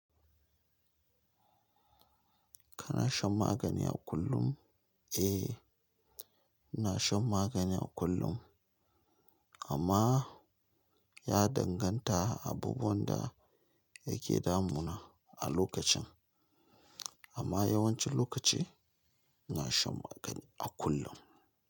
Kana shan magani a kullum? Eh, ina shan magani a kullum amma ya danganta abubuwan da yake damuna a lokacin. Amma yawancin lokaci ina shan magani a kullum.